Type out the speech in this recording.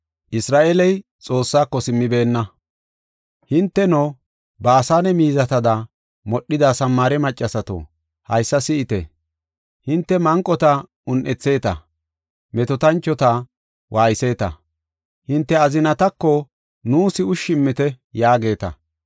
Hinteno, Baasane miizatada modhida Samaare maccasato, haysa si7ite! Hinte manqota un7etheeta; metootanchota waayetheta. Hinte azinatako, “Nuus ushshi immite” yaageeta.